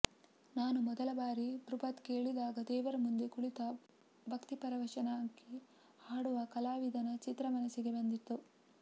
ನಾನು ಮೊದಲ ಬಾರಿ ಧ್ರುಪದ್ ಕೇಳಿದಾಗ ದೇವರ ಮುಂದೆ ಕುಳಿತ ಭಕ್ತಿಪರವಶವಾಗಿ ಹಾಡುವ ಕಲಾವಿದನ ಚಿತ್ರ ಮನಸ್ಸಿಗೆ ಬಂದಿತು